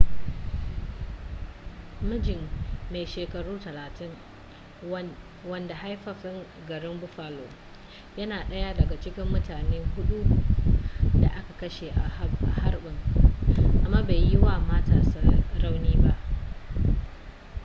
mijin mai shekaru 30 wanda haifaffen garin buffalo yana daya daga cikin mutane hudun da aka kashe a harbin amma bai yi wa matarsa rauni ba